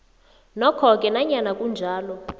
nokhoke nanyana kunjalo